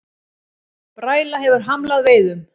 Bræla hefur hamlað veiðum